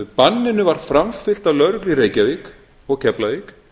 banninu var framfylgt af lögreglu í reykjavík og keflavík